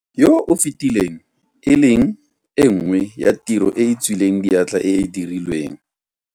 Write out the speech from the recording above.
yo o fetileng, e leng e nngwe ya tiro e e tswileng diatla e e dirilweng.